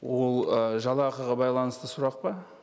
ол ыыы жалақыға байланысты сұрақ па